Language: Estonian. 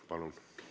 Palun!